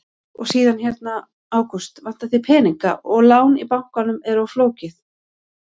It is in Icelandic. Og síðan hérna: Ágúst, vantar þig peninga og lán í bankanum er of flókið?